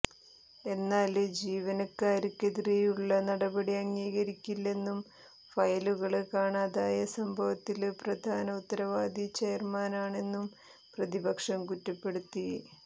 എന്നാല് ജീവനക്കാര്ക്കെതിരെയുള്ള നടപടി അംഗീകരിക്കില്ലെന്നും ഫയലുകള് കാണാതായ സംഭവത്തില് പ്രധാന ഉത്തരവാദി ചെയര്മാനാണെന്നും പ്രതിപക്ഷം കുറ്റപ്പെടുത്തി